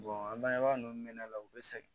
an bangebaa ninnu bɛ ne la u bɛ sɛgɛn